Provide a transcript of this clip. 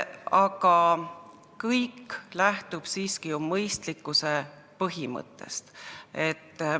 Aga kõik lähtub siiski ju mõistlikkuse põhimõttest.